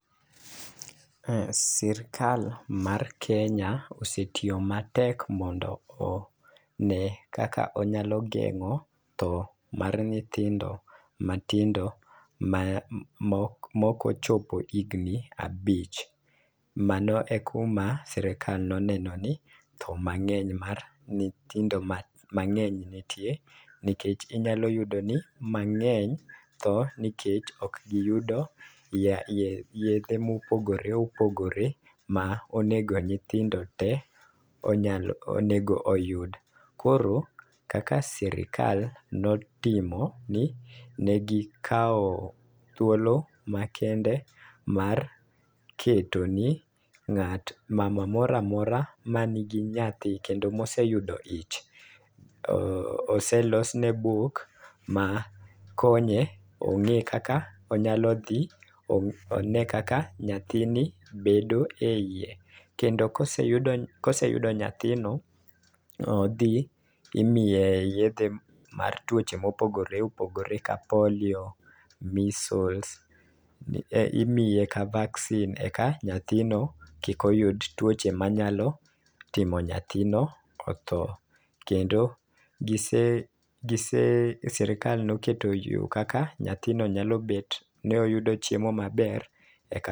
Ka sirikal mar Kenya osetiyo matek mondo ne kaka onyalo geng'o tho mar nyithindo ma tindo ma mo mokochopo higni abich . Mano e kuma sirikal noneno ni tho mang'eny mar nyithindo mangeny nitie nikech inyalo yudo ni mang'eny tho nikech ok giyudo yedhe mopogore opogore monego nyithindo te onyal onego yud. Koro kaka sirikal notimo ni ne gikawo thuolo makende mar keto ni ng'at mama moramora ma nigi nyathi kendo moseyudo ich ,oselos ne buk ma konye ong'e kaka onyalo dhi one kaka nyathi ni bedo e iye kendo kose koseyudo nyathino odhi imiye yedhe mar tuoche mopogore opogore ka polio, measles, e imiye ka vaccine eka nyathino kik oyud tuoche manyalo timo nyathino otho .Kendo gise gise sirikal noketo yoo kaka nyathino nyalo bet ni oyudo chiemo maber eka